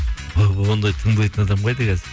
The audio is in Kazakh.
ондай тыңдайтын адам қайда қазір